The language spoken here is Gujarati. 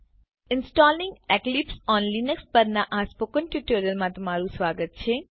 ઇન્સ્ટોલિંગ એક્લિપ્સ ઓન લિનક્સ પરનાં સ્પોકન ટ્યુટોરીયલમાં સ્વાગત છે